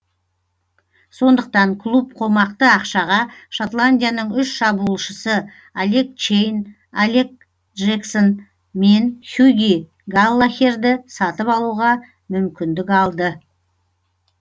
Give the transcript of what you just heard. сондықтан клуб қомақты ақшаға шотландияның үш шабуылшысы алек чейн алек джексон мен хьюги галлахерді сатып алуға мүмкіндік алды